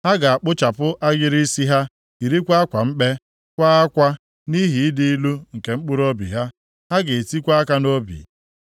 Ha ga-akpụchapụ agịrị isi ha, yirikwa akwa mkpe, kwaa akwa nʼihi ịdị ilu nke mkpụrụobi ha. Ha ga-etikwa aka ha nʼobi.